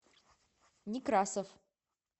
некрасов